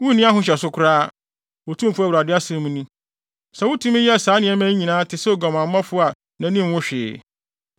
“ ‘Wunni ahohyɛso koraa, Otumfo Awurade asɛm ni, sɛ wutumi yɛ saa nneɛma yi nyinaa te sɛ oguamanfo a nʼani nwu hwee.